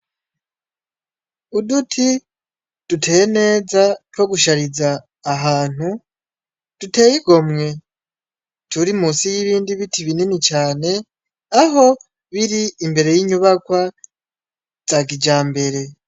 Uduti duteye neza two gushariza ahantu duteye igomwe turi munsi y'ibindi biti binini cane aho biri imbere y'inyubakwa za kijambere.